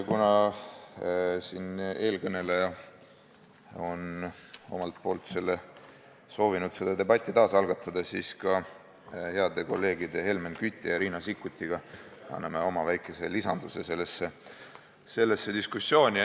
Kuna eelkõneleja on soovinud seda debatti uuesti algatada, siis anname heade kolleegide Helmen Küti ja Riina Sikkutiga ka oma väikese lisanduse sellesse diskussiooni.